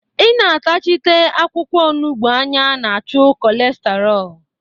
Ị na-atachite akwụkwọ onugbu anya na-achụ kolestaro